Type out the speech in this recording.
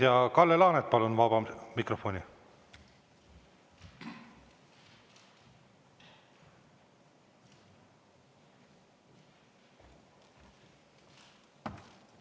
Ja Kalle Laanet, palun vabasse mikrofoni!